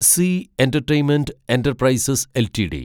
C entertainment enterprises LTD